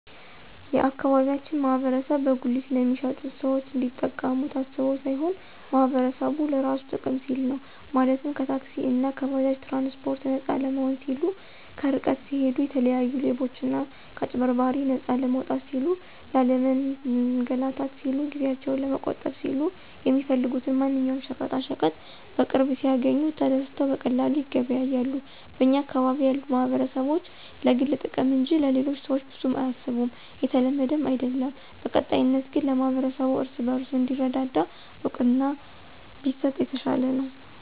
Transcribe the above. የአካባቢያችን ማህበረሰብ በጉሊት ለሚሸጡት ሰዎች እንዲጠቀሙ ታስቦ ሳይሆን ማህበረሰቡ ለራሱ ጥቅም ሲል ነው፤ ማለትም ከታክሲእና ከባጃጅ ትራንስፓርት ነፃ ለመሆን ሲሉ፣ ከርቀት ሲሂዱ የተለያዩ ሌቦችና ከአጭበርባሪዎች ነፃ ለመውጣት ሲሉ፣ ላለመንላታት ሲሉ፣ ጊዜአቸውን ለመቆጠብ ሲሉ፣ የሚፈልጉትን ማንኛውም ሸቀጣሸቀጥ በቅርብ ሲያግኙ ተደስተው በቀላሉ ይገበያያሉ። በኛ አካባቢ ያሉ ማህበረሰቦች ለግል ጥቅም እንጅ ለሌሎቹ ሰዎች ብዙም አያስቡም የተለመደም አይድለም። በቀጣይነት ግን ለማህበረሰቡ እርስ በርሱ እንዲረዳዳ እውቅና ቢሰጥ የተሻለ ነው።